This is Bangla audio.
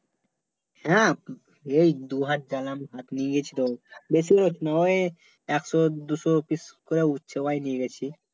হ্যাঁ এই দু গেলাম হাট নিয়ে গেছি তো বেশির ভাগ নয়ে একশো দুশো pice করে সবাই নিয়ে গেছি